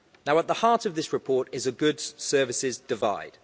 At the heart of this report is a goods services divide.